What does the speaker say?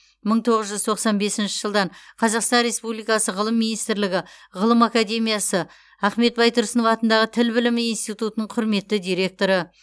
мың тоғыз жүз тоқсан бесінші жылдан қазақстан республикасы ғылым министрлігі ғылым академиясы ахмет байтұрсынов атындағы тіл білімі институтының құрметті директоры